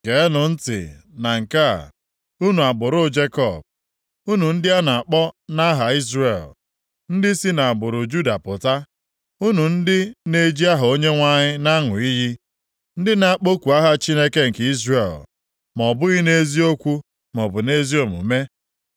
“Geenụ ntị na nke a, unu agbụrụ Jekọb, unu ndị a na-akpọ nʼaha Izrel, ndị si nʼagbụrụ Juda pụta. Unu ndị na-eji aha Onyenwe anyị na-aṅụ iyi, ndị na-akpọku aha Chineke nke Izrel, ma ọ bụghị nʼeziokwu maọbụ nʼezi omume.